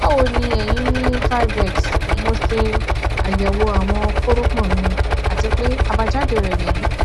báwo ni èyí ni xxxxx mo ṣe àyẹwò àwọn kórópọn mi àti pé àbájáde rẹ nìyí